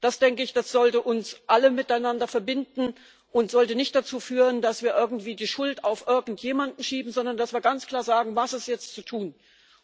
Das, denke ich, sollte uns alle miteinander verbinden und sollte nicht dazu führen, dass wir irgendwie die Schuld auf irgendjemanden schieben, sondern dass wir ganz klar sagen, was jetzt zu tun ist.